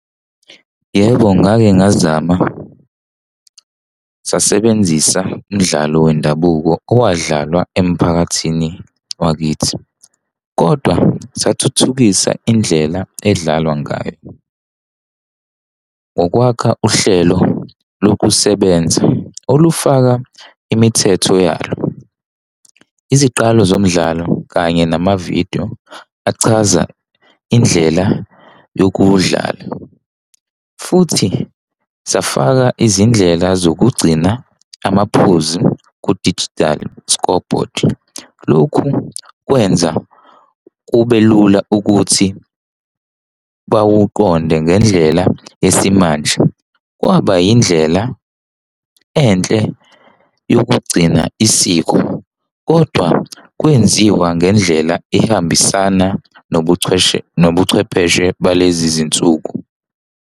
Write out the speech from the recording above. Yebo, ngake ngazama. Sasebenzisa umdlalo wendabuko owadlalwa emphakathini wakithi. Kodwa sathuthukisa indlela edlalwa ngayo, ngokwakha uhlelo lokusebenza olufaka imithetho yalo, iziqalo zomdlalo kanye nama-video achaza indlela yokuwudlala. Futhi safaka izindlela zokugcina amaphuzu ku-digital scoreboard. Lokhu kwenza kube lula ukuthi bakuqonde ngendlela yesimanje. Kwaba indlela enhle yokugcina isiko kodwa kwenziwa ngendlela ehambisana nobuchwepheshe balezi zinsuku.